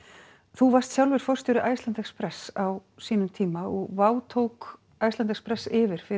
þú varst sjálfur forstjóri Iceland express á sínum tíma og tók Iceland express yfir fyrir